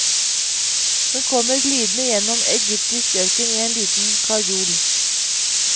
Hun kommer glidende gjennom egyptisk ørken i en liten karjol.